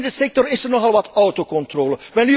Binnen de sector is er nogal wat autocontrole.